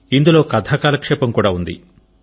ఇందులో కథా కాలక్షేపం కూడా ఉంది